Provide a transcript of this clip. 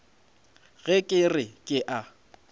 ge ke re ke a